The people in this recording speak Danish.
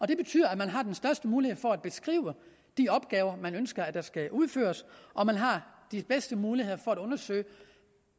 det betyder at man har den største mulighed for at beskrive de opgaver man ønsker der skal udføres og at man har de bedste muligheder for at undersøge